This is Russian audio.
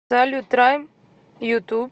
салют райм ютуб